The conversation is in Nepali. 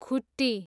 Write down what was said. खुट्टी